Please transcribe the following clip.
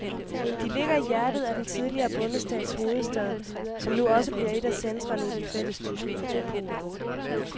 De ligger i hjertet af den tidligere bondestats hovedstad, som nu også bliver et af centrene i den fællestyske metropol.